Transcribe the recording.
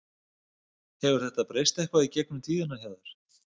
Hefur þetta breyst eitthvað í gegnum tíðina hjá þér?